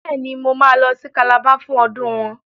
Bẹ́ẹ̀ ni, Mo máa lọ sí Calabar fún ọdún wọn.